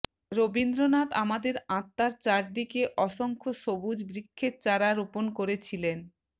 রবীন্দ্রনাথ আমাদের আত্মার চারদিকে অসংখ্য সবুজ বৃক্ষের চারা রোপণ করেছিলেন